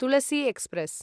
Tulsi express